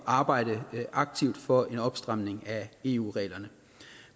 arbejder aktivt for en opstramning af eu reglerne